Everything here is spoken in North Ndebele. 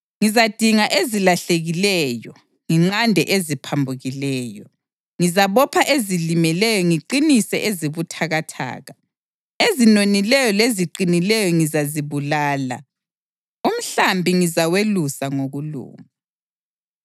Ngizadinga ezilahlekileyo nginqande eziphambukileyo. Ngizabopha ezilimeleyo ngiqinise ezibuthakathaka. Ezinonileyo leziqinileyo ngizazibulala. Umhlambi ngizawelusa ngokulunga.